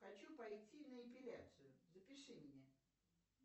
хочу пойти на эпиляцию запиши меня